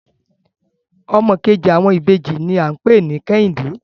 Ọmọ kejì àwọn ìbejì ní à ń pè ní Kẹ́hìndẹ́